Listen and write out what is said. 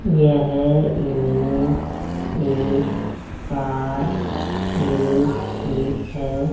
यह इमेज एक car garage की है।